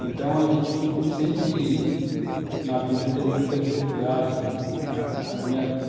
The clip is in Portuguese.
Então, a gente sempre na vida teve muita dificuldade, na